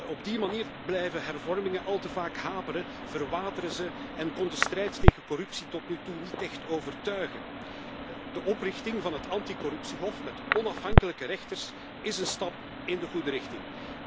Op die manier blijven hervormingen al te vaak haperen, verwateren ze en kon de strijd tegen corruptie tot nu toe niet echt overtuigen. De oprichting van het anti corruptiehof, met onafhankelijke rechters, is een stap in de goede richting.